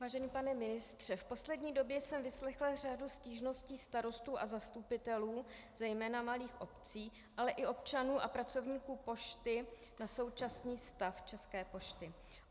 Vážený pane ministře, v poslední době jsem vyslechla řadu stížností starostů a zastupitelů zejména malých obcí, ale i občanů a pracovníků pošty na současný stav České pošty.